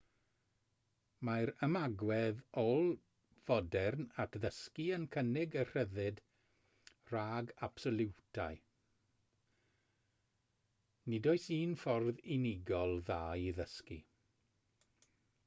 mae'r ymagwedd ôl-fodern at ddysgu yn cynnig y rhyddid rhag absoliwitau nid oes un ffordd unigol dda i ddysgu